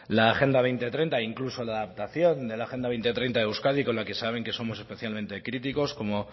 la agenda dos mil treinta e incluso la adaptación de la agenda dos mil treinta de euskadi con la que saben que somos especialmente críticos como